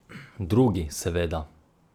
Drugi, seveda.